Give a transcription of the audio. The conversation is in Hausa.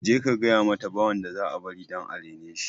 Je ka gayamata ba wanda za a bari dan areneshi